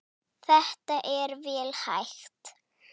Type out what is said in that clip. Þetta er vel hægt.